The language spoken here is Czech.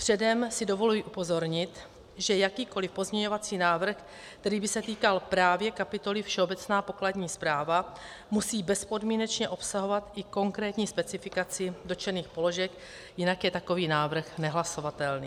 Předem si dovoluji upozornit, že jakýkoliv pozměňovací návrh, který by se týkal právě kapitoly Všeobecná pokladní správa, musí bezpodmínečně obsahovat i konkrétní specifikaci dotčených položek, jinak je takový návrh nehlasovatelný.